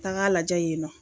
Taga lajɛ yen nɔ